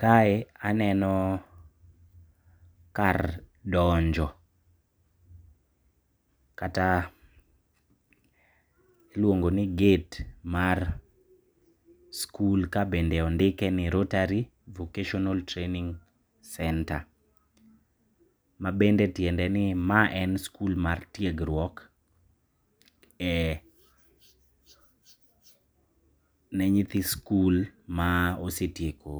Kae aneno kar donjo, kata iluongoni gate mar skul kabende ondikeni Rotary Vocational Training Centre. Mabende tiendeni ma en skul mar tiegruok ne nyithi skul ma osetieko